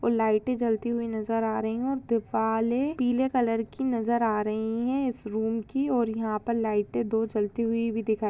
और लाइटे भी जलती हुई नजर आ रही है और दीवारे पीले कलर की नजर आ रही है इस रूम की और यहा पे लाइटे दो जलती हुई दिखाई --